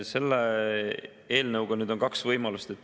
Selle eelnõuga nüüd on kaks võimalust.